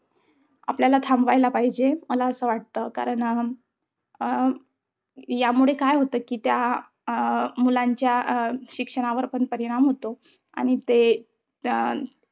आपल्याला थांबवायला पाहिजे मला असं वाटतं कारण, अं अं यामुळे काय होत कि त्या अं मुलांच्या अं शिक्षणावर पण परिणाम होतो. आणि ते अं